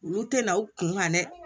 Olu tɛna u kunkan dɛ